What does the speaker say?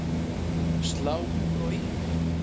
Slá úr og í